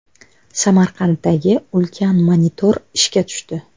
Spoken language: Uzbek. Samarqanddagi ulkan monitor ishga tushdi.